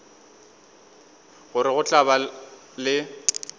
gore go tla ba le